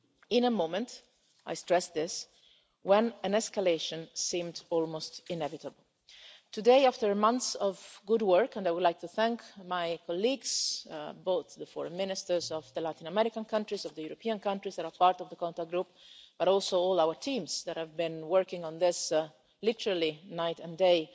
In a moment I stress this when an escalation seemed almost inevitable, today after months of good work, and I would like to thank my colleagues, both the foreign ministers of the Latin American countries, of the European countries that are part of the contact group, but also all our teams that have been working on this literally night and